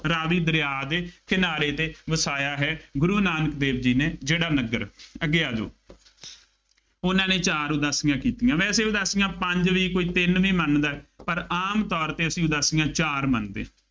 ਰਾਵੀ ਦਰਿਆ ਦੇ ਕਿਨਾਰੇ ਤੇ ਵਸਾਇਆ ਹੈ, ਗੁਰੂ ਨਾਨਕ ਦੇਵ ਜੀ ਨੇ ਜਿਹੜਾ ਨਗਰ, ਅੱਗੇ ਆ ਜਾਉ ਉਹਨਾ ਨੇ ਚਾਰ ਉਦਾਸੀਆਂ ਕੀਤੀਆ। ਵੈਸੇ ਉਦਾਸੀਆਂ ਪੰਜ ਵੀ, ਕੋਈ ਤਿੰਨ ਵੀ ਮੰਨਦਾ, ਪਰ ਆਮ ਤੌਰ ਤੇ ਅਸੀਂ ਉਦਾਸੀਆਂ ਚਾਰ ਮੰਨਦੇ ਹਾਂ।